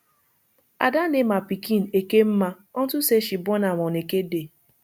ada name her pikin ekemma unto say she born am on eke day